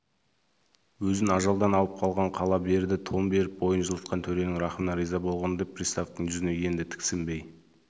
өзін ажалдан алып қалған қала берді тон беріп бойын жылытқан төренің рахымына риза болғандай приставтың жүзіне енді тіксінбей